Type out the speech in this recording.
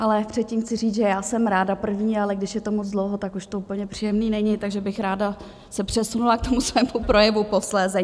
Ale předtím chci říct, že já jsem ráda první, ale když je to moc dlouho, tak už to úplně příjemné není, takže bych se ráda přesunula k tomu svému projevu posléze.